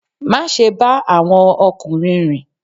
Má ṣe ba àwọn okunrin rìn!